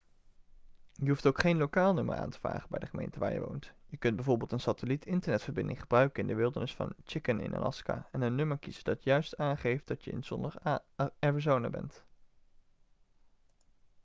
je hoeft ook geen lokaal nummer aan te vragen bij de gemeente waar je woont je kunt bijv een satelliet-internetverbinding gebruiken in de wildernis van chicken in alaska en een nummer kiezen dat juist aangeeft dat je in zonnig arizona bent